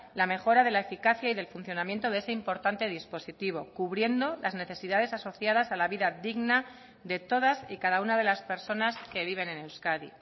la mejora de la eficacia y del funcionamiento de ese importante dispositivo cubriendo las necesidades asociadas a la vida digna de todas y cada una de las personas que viven en euskadi